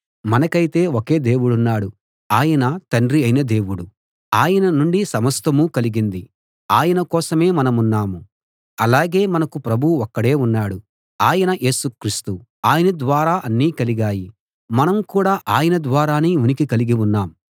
మనకైతే ఒకే దేవుడున్నాడు ఆయన తండ్రి అయిన దేవుడు ఆయన నుండి సమస్తమూ కలిగింది ఆయన కోసమే మనమున్నాం అలాగే మనకు ప్రభువు ఒక్కడే ఉన్నాడు ఆయన యేసు క్రీస్తు ఆయన ద్వారా అన్నీ కలిగాయి మనం కూడా ఆయన ద్వారానే ఉనికి కలిగి ఉన్నాం